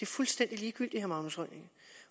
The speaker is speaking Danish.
fuldstændig ligegyldigt